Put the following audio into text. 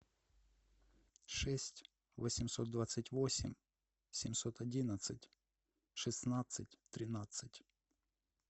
шесть восемьсот двадцать восемь семьсот одиннадцать шестнадцать тринадцать